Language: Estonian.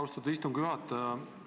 Austatud istungi juhataja!